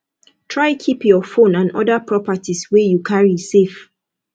try keep your phone and other properties wey you carry safe